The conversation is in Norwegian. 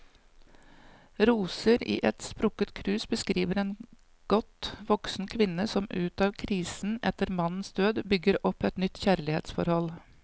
Roser i et sprukket krus beskriver en godt voksen kvinne som ut av krisen etter mannens død, bygger opp et nytt kjærlighetsforhold.